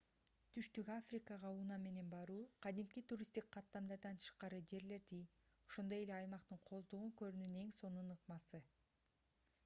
түштүк африкага унаа менен баруу кадимки туристтик каттамдардан тышкары жерлерди ошондой эле аймактын кооздугун көрүүнүн эң сонун ыкмасы